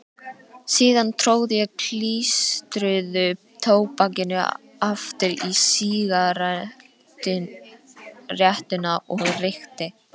Síðan tróð ég klístruðu tóbakinu aftur í sígarettuna og reykti.